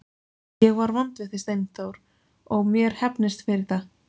Ég var vond við þig Steindór og mér hefnist fyrir það.